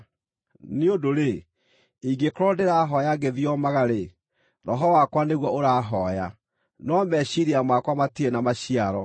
Nĩ ũndũ-rĩ, ingĩkorwo ndĩrahooya ngĩthiomaga-rĩ, roho wakwa nĩguo ũrahooya, no meciiria makwa matirĩ na maciaro.